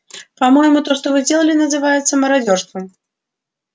по-моему то что вы делали называется мародёрством